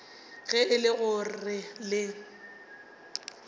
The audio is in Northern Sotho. ge e le gore le